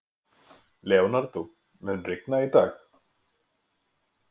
Leonardó, mun rigna í dag?